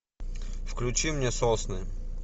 включи мне сосны